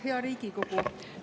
Hea Riigikogu!